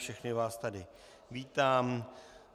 Všechny vás tady vítám.